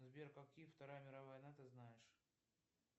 сбер какие вторая мировая война ты знаешь